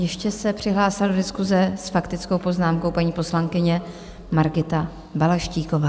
Ještě se přihlásila do diskuse s faktickou poznámkou paní poslankyně Margita Balaštíková.